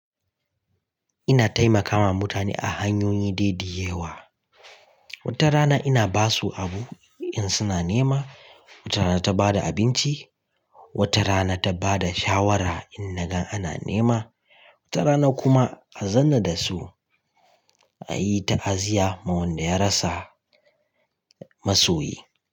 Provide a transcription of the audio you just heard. Ina taimakawa mutane a hanyoyin daidaya wa. Wata rana ina ba su abu in suna nema, wata rana ta ba da abinci, wata rana ta ba da shawara in na gan ana nema, wata rana kuma a zanna da su a yi ta'aziyya wa wanda ya rasa masoyi.